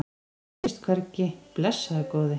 Hún sést hvergi, blessaður góði.